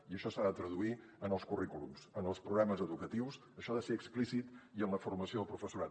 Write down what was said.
i això s’ha de traduir en els currículums en els programes educatius això ha de ser explícit i en la formació del professorat